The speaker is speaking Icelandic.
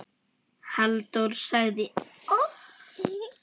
Halldór sagði